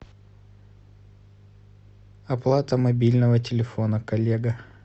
оплата мобильного телефона коллега